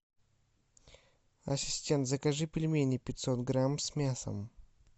ассистент закажи пельмени пятьсот грамм с мясом